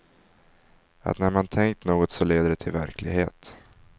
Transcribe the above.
Att när man tänkt något så leder det till verklighet.